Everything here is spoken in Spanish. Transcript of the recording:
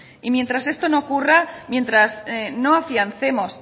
y mientras esto no ocurra mientras no afiancemos